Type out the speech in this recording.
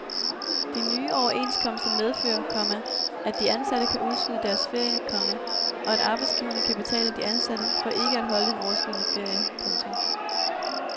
De nye overenskomster medfører, komma at de ansatte kan udskyde deres ferie, komma og at arbejdsgiverne kan betale de ansatte for ikke at holde den overskydende ferie. punktum